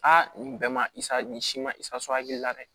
Aa nin bɛɛ ma i sa nin siman isiso hakili la dɛ